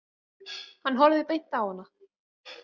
Hann horfði beint á hana.